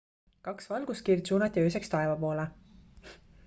kaks valguskiirt suunati ööseks taeva poole